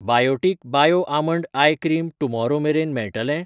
Biotique bio almond eye cream tomorrow मेरेन मेळटलें?